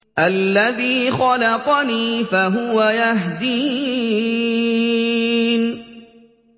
الَّذِي خَلَقَنِي فَهُوَ يَهْدِينِ